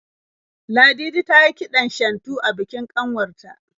Ladidi tayi kiɗan shantu a bikin kanwar ta.